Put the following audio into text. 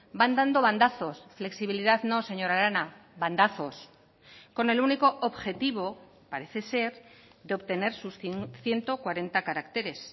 van dando bandazos flexibilidad no señora arana bandazos con el único objetivo parece ser de obtener sus ciento cuarenta caracteres